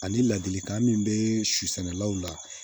Ani ladilikan min bɛ su sɛnɛlaw la